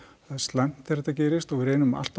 það er slæmt þegar þetta gerist og við reynum alltaf